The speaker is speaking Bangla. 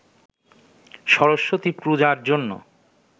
সরস্বতী পূজার জন্য